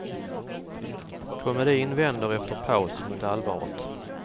Komedin vänder efter paus mot allvaret.